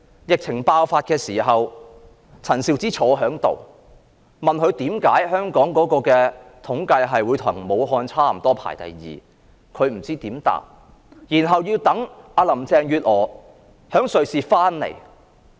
疫情爆發的時候，陳肇始坐在這裏，議員問她為何香港的統計數字與武漢差不多，排名第二，她不知怎樣回答，要待林鄭月娥從瑞士回港。